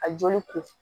A joli ko